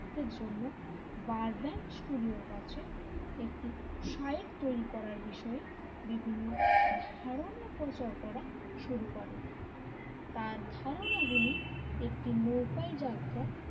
দের জন্য বারবেন্ট স্টুডিওর কাছে একটি সাইট তৈরি করার বিষয়ে বিভিন্ন ধারণা প্রচার করা শুরু করে তার ধারণা গুলি একটি নৌকা যাত্রা,